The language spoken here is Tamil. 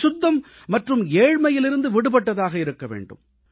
அசுத்தம் மற்றும் ஏழ்மையிலிருந்து விடுபட்டதாக இருக்க வேண்டும்